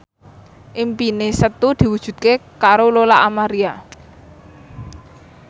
impine Setu diwujudke karo Lola Amaria